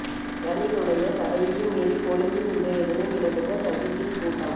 ரணிலுடைய தடையையும் மீறி கொழும்பில் இன்றைய தினம் இடம்பெற்ற சஜித்தின் கூட்டம்